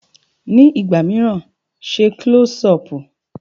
Ní ìgbà míràn, ṣe Klọ́sí ọpù.